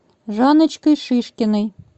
жанночкой шишкиной